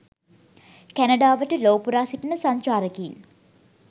කැනඩාවට ලෝ පුරා සිටින සංචාරකයින්